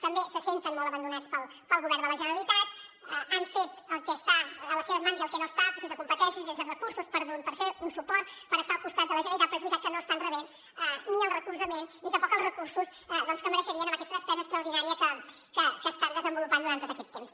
també se senten molt abandonats pel govern de la generalitat han fet el que està a les seves mans i el que no hi està sense competències sense recursos per fer un suport per estar al costat de la generalitat però és veritat que no estan rebent ni el recolzament ni tampoc els recursos que mereixerien amb aquesta despesa extraordinària que estan desenvolupant durant tot aquest temps